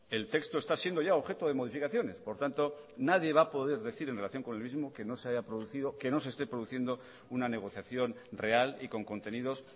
el texto está siendo ya objeto de modificaciones por tanto nadie va a poder decir en relación con el mismo que no se haya producido que no se esté produciendo una negociación real y con contenidos